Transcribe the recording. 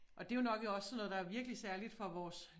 Og det jo nok også sådan noget der er virkelig særligt for vores